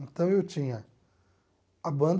Então eu tinha a banda,